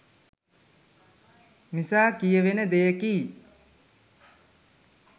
නිසා කියැවෙන දෙයකි.